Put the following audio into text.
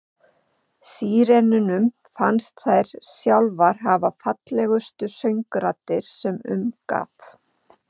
Sírenunum fannst þær sjálfar hafa fallegustu söngraddir sem um gat.